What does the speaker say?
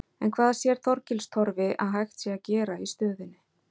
En hvað sér Þorgils Torfi að hægt sé að gera í stöðunni?